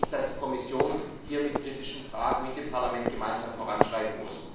Deshalb muss die Kommission hier mit kritischen Fragen mit dem Parlament gemeinsam voranschreiten.